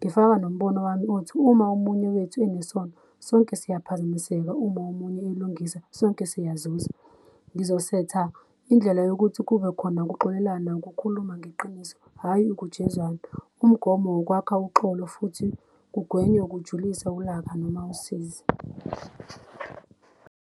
ngifaka nombono wami othi uma omunye wethu enesono sonke siyaphazamiseka uma omunye elungisa sonke siyazuza. Ngizosetha indlela yokuthi kubekhona ukuxolelana ngokukhuluma ngeqiniso, hhayi kujezwane. Umgomo wukwakha uxolo futhi kugwenywe ukujulisa ulaka noma usizi.